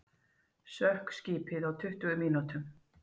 Sökk skipið á um tuttugu mínútum